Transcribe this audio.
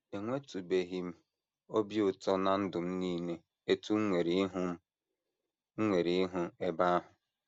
Enwetụbeghị m obi ụtọ ná ndụ m nile otú m nwere ịhụ m nwere ịhụ ebe ahụ.